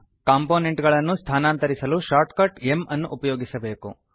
component ಅನ್ನು ಸ್ಥಾನಾಂತರಿಸಲು shortcut m ಅನ್ನು ಉಪಯೋಗಿಸಬೇಕು